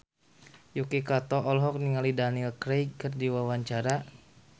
Yuki Kato olohok ningali Daniel Craig keur diwawancara